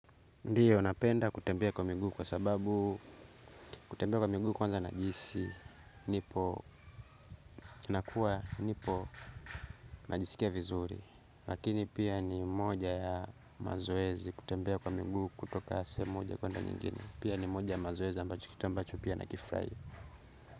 Ndiyo, napenda kutembea kwa miguu kwa sababu kutembea kwa miguu kwanza najihisi, nipo, nakuwa, nipo, najisikia vizuri. Lakini pia ni moja ya mazoezi kutembea kwa miguu kutoka sehemu moja kuenda nyingine. Pia ni moja ya mazoezi ambacho kitu ambacho pia nakifraia.